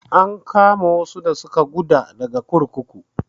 An kama wasu da suka guda daga kurkuku.